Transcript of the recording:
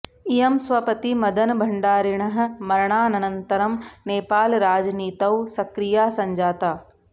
इयं स्वपति मदन भण्डारिणः मरणानन्तरं नेपालराजनीतौ सक्रिया सञ्जाता